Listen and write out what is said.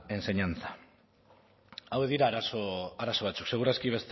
enseñanza hauek dira arazo batzuk seguraski